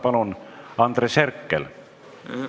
Palun, Andres Herkel!